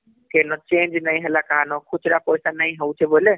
କେ ନ change ନାଇଁ ହେଲା କାହା ନ ଖୁଚୁରା ପଇସା ନାଇଁ ହଉଛ ବୋଇଲେ